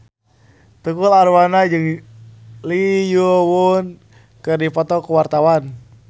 Tukul Arwana jeung Lee Yo Won keur dipoto ku wartawan